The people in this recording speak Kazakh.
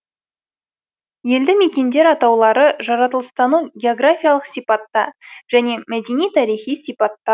елді мекендер атаулары жаратылыстану географиялық сипатта және мәдени тарихи сипатта